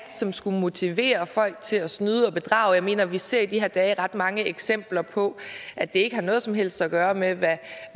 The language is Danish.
som skulle motivere folk til at snyde og bedrage jeg mener vi ser i de her dage ret mange eksempler på at det ikke har noget som helst at gøre med hvad